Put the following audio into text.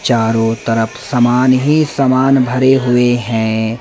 चारों तरफ सामान ही सामान भरे हुए हैं।